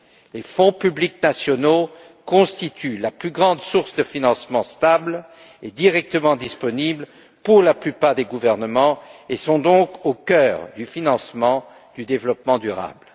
Les fonds publics nationaux constituent la plus grande source de financement stable et directement disponible pour la plupart des gouvernements et sont donc au cœur du financement du développement durable.